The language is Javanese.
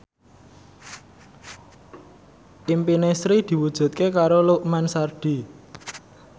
impine Sri diwujudke karo Lukman Sardi